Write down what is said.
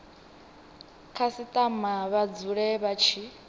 khasitama vha dzule vha tshi